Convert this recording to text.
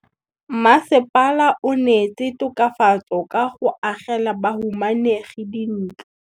Mmasepala o neetse tokafatsô ka go agela bahumanegi dintlo.